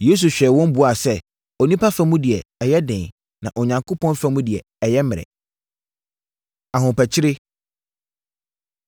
Yesu hwɛɛ wɔn buaa sɛ, “Onipa fa mu deɛ, ɛyɛ den; na Onyankopɔn fa mu deɛ, ɛyɛ mmerɛ.” Ahopakyire